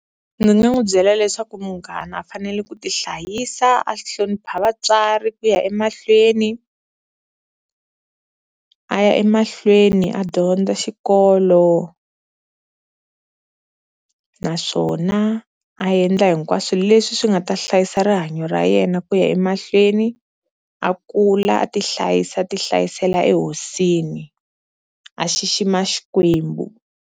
Ndzi nga n'wi byela leswaku munghana u fanele ku ti hlayisa, a hlonipha vatswari ku ya emahlweni a ya emahlweni a dyondza xikolo naswona a endla hinkwaswo leswi swi nga ta hlayisa rihanyo ra yena ku ya emahlweni, a kula a ti hlayisa ti hlayisela ehosini a xixima Xikwembu.